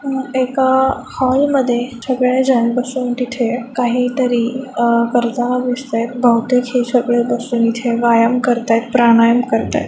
एक हॉल मध्ये सगळे जन बसून तिथे काही तरी करताना दिसतायत बहुतेक ही सगळे जन बसून इथे व्यायाम कारत्यात प्राणायाम करतायत प्राणायाम करतायत.